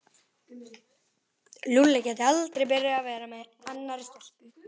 Lúlli gæti aldrei byrjað að vera með annarri stelpu.